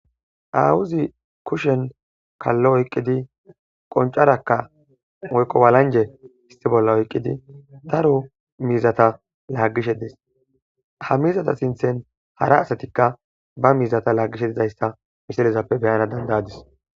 awuzi kushen kallo oyqqidi qoncarakka oykqo walanje istibolla oyqqidi taro miizata laagishe des ha mizata sinthen hara asatikka ba miizata laagishe dizayssa misilezappe beyana dandayadis